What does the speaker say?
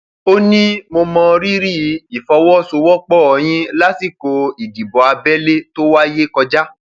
ó ní mo mọ rírì ìfọwọsowọpọ yín lásìkò ìdìbò abẹlé tó wáyé kọjá